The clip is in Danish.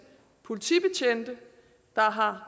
politibetjente der har